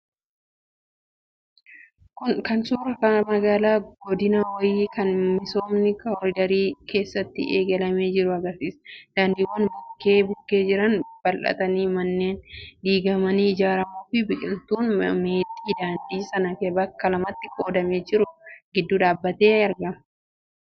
Kun suuraa magaalaa godinaa wayii kan misoomni koriidarii keessatti eegalamee jiru agarsiisa. Daandiiwwan bukkee bukkee jiran bal'atanii, manneen diigamanii ijaaramuu fi biqiltuun meexxii daandii sana bakka lamatti qoodamee jiru gidduu dhaabbatee margaa jira.